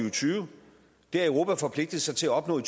og tyve har europa forpligtet sig til at opnå i